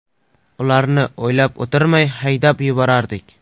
Ularni o‘ylab o‘tirmay haydab yuborardik.